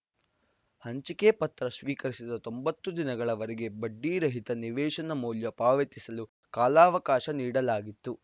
ಹಂಚಿಕೆ ಪತ್ರ ಸ್ವೀಕರಿಸಿದ ತೊಂಬತ್ತು ದಿನಗಳವರೆಗೆ ಬಡ್ಡಿ ರಹಿತ ನಿವೇಶನ ಮೌಲ್ಯ ಪಾವತಿಸಲು ಕಾಲಾವಕಾಶ ನೀಡಲಾಗಿತ್ತು